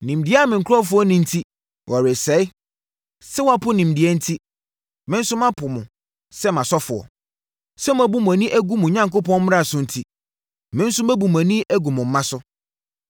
Nimdeɛ a me nkurɔfoɔ nni enti wɔresɛe. “Sɛ moapo nimdeɛ enti, me nso mapo mo sɛ mʼasɔfoɔ; sɛ moabu moani agu mo Onyankopɔn mmara so enti, me nso mabu mʼani agu mo mma so.